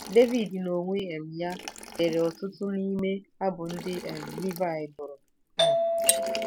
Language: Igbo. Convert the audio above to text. Devid n'onwe um ya dere ọtụtụ n'ime abụ ndị um Livaị bụrụ. um